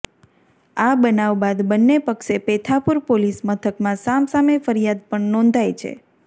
આ બનાવ બાદ બંને પક્ષે પેથાપુર પોલીસ મથકમાં સામસામે ફરિયાદ પણ નોંધાઇ છે